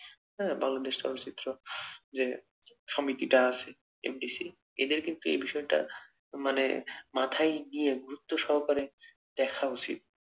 হ্যাঁ বাংলাদেশ চলচ্চিত্র। যে সমিতিটা আছে এদের কিন্তু এ বিষয়টা মানে মাথায় গুরুত্ব সহকারে দেখা উচিত।